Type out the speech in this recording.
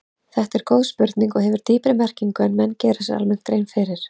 Þetta er góð spurning og hefur dýpri merkingu en menn gera sér almennt grein fyrir.